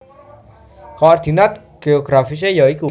Koordinat geografisé ya iku